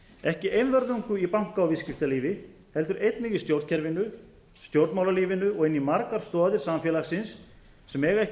ekki einvörðungu í banka og viðskiptalífi heldur einnig í stjórnkerfinu stjórnmálalífinu og inn í margar stoðir samfélagsins sem eiga ekki